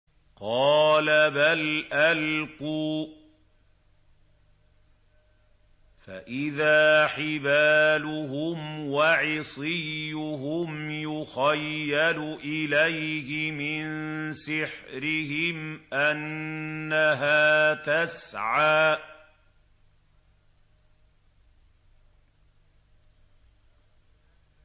قَالَ بَلْ أَلْقُوا ۖ فَإِذَا حِبَالُهُمْ وَعِصِيُّهُمْ يُخَيَّلُ إِلَيْهِ مِن سِحْرِهِمْ أَنَّهَا تَسْعَىٰ